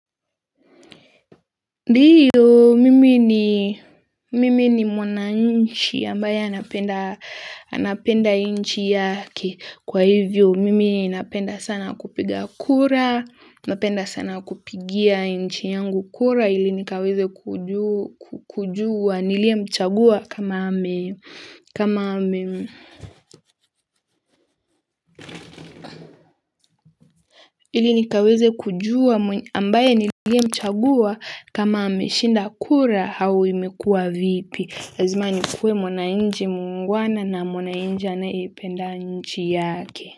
Ndiyo mimi ni mwana inchi ambaye anapenda inchi yake kwa hivyo mimi napenda sana kupiga kura napenda sana kupigia inchi yangu kura ili nikaweze kujua niliye mchagua kama ame ili nikaweze kujua ambaye niliye mchagua kama ameshinda kura au imekuwa vipi lazima nikuwe mwanana inchi muungwana na mwana inchi aneyeipenda nchi yake.